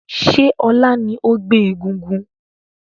Ṣé ọ̀la ni ó gbé egúngún?